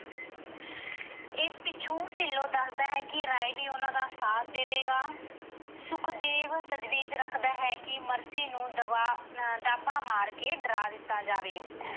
ਇਸ ਪਿੱਛੋਂ ਢਿੱਲੋਂ ਦੱਸਦਾ ਹੈ ਕਿ ਰਾਏ ਵੀ ਉਹਨਾਂ ਦਾ ਸਾਥ ਦੇਵੇਗਾ। ਸੁਖਦੇਵ ਤਜਵੀਜ ਰੱਖਦਾ ਹੈ ਕਿ ਮਰਸੀ ਨੂੰ ਦਬਾ ਅਹ ਦਾਅਵਾ ਮਾਰ ਕੇ ਡਰਾ ਦਿੱਤਾ ਜਾਵੇ।